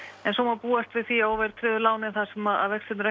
en svo má búast við því að óverðtryggðu lánin þar sem að vextir eru